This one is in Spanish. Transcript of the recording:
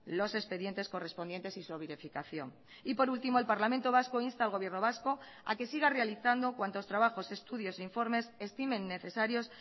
los expedientes correspondientes y su verificación y por último el parlamento vasco insta al gobierno vasco a que siga realizando cuantos trabajos estudios e informes estimen necesarios